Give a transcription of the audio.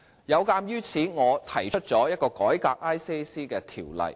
有鑒於此，我提出了一項改革廉政公署的法案。